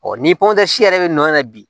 ni pɔnto si yɛrɛ bɛ nɔ na bi